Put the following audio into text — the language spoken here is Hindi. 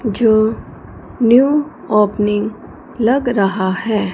जो न्यू ओपनिंग लग रहा है।